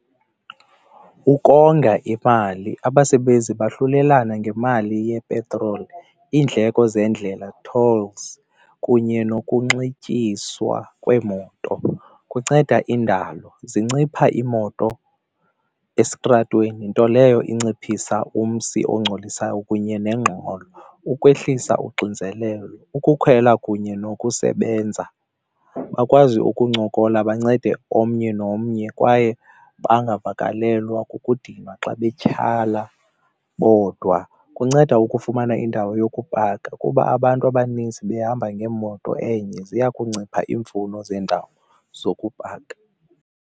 Ukonga imali, abasebenzi bahlulelana ngemali yepetroli, iindleko zeendlela, tolls, kunye nokunxityiswa kweemoto kunceda indalo. Zincipha iimoto esitratweni nto leyo inciphisa umsi engcolisayo kunye nengxolo. Ukwehlisa uxinzelelo, ukukhwela kunye nokusebenza bakwazi ukuncokola bancede omnye nomnye kwaye bangavakalelwa kukudinwa xa betyhala bodwa. Kunceda ukufumana indawo yokupaka, kuba abantu abanintsi behamba ngemoto enye ziya kuncipha iimfuno zendawo zokupaka.